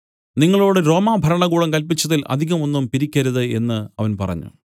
നിങ്ങളോടു റോമാ ഭരണകൂടം കല്പിച്ചതിൽ അധികം ഒന്നും പിരിക്കരുത് എന്നു അവൻ പറഞ്ഞു